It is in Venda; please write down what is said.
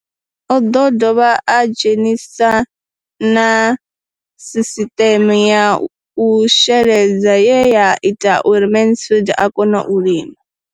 O ḓo dovha a dzhenisa na sisiṱeme ya u sheledza ye ya ita uri Mansfied a kone u lima.